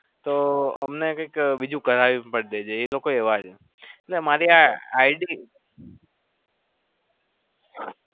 તો અમને કંઈક બીજું કરાય એમ પણ નહી એ લોકો એવા છે.